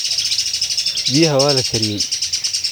Biyaha waa la kariyey.